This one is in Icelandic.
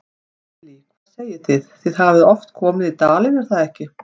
Lillý: Hvað segið þið, þið hafið oft komið í dalinn, er það ekki?